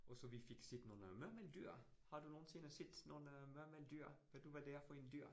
Og så vi fik set nogle murmeldyr, har du nogensinde set sådan nogle øh murmeldyr? Ved du hvad det er for en dyr?